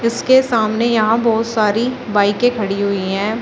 उसके सामने यहां बहोत सारी बाइके खड़ी हुई है।